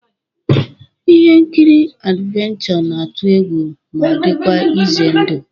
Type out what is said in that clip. Ihe nkiri adivencho na-atụ egwu ma dịkwa ize ndụ